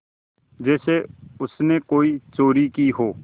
जैसे उसने कोई चोरी की हो